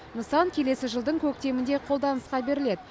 нысан келесі жылдың көктемінде қолданысқа беріледі